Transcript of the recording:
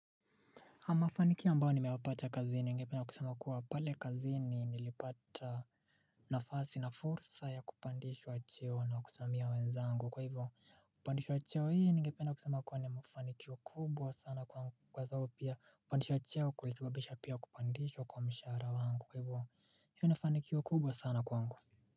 Mafanikio ambao nimeyapata kazini ngependa kusema kuwa pale kazini nilipata nafasi na fursa ya kupandishwa cheo na kusimamia wenzangu kwa hivyo kupandishwa cheo hii ningepeda kusema kuwa ni mafanikio kubwa sana kwa zao pia kupandishwa cheo kulisibabisha pia kupandishwa kwa mshara wangu kwa hivyo hiyo ni fanikio kubwa sana kwa wangu.